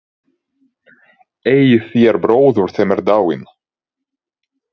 Eigið þér bróður sem er dáinn?